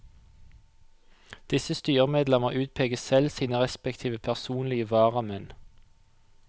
Disse styremedlemmer utpeker selv sine respektive personlige varamenn.